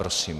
Prosím.